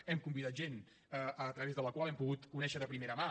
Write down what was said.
hem convidat gent a través de la qual hem pogut conèixer de primera mà